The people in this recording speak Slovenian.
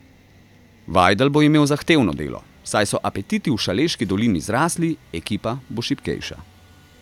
Vajdl bo imel zahtevno delo, saj so apetiti v Šaleški dolini zrasli, ekipa bo šibkejša.